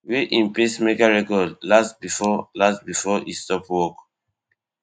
wey im pacemaker record last before last before a stop work